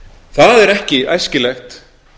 það er ekki æskilegt